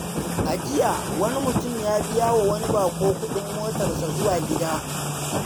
A jiya, wani mutum ya biya wa wani bako kudin motarsa zuwa gida.